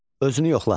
Özünü yoxla.